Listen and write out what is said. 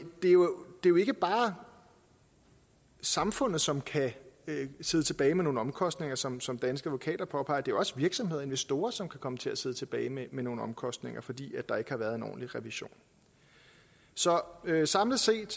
er jo ikke bare samfundet som kan sidde tilbage med nogle omkostninger som som danske advokater påpeger det også virksomheder og investorer som kan komme til at sidde tilbage med nogle omkostninger fordi der ikke har været en ordentlig revision så samlet set